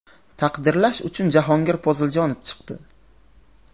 Taqdirlash uchun Jahongir Poziljonov chiqdi.